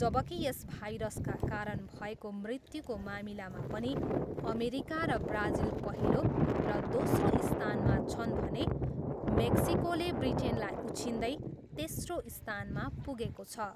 जबकि यस भाइरसका कारण भएको मृत्युको मामिलामा पनि अमेरिका र ब्राजिल पहिलो र दोस्रो स्थानमा छन् भने मेक्सिकोले ब्रिटेनलाई उछिन्दै तेस्रो स्थानमा पुगेको छ।